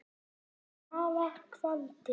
er mara kvaldi.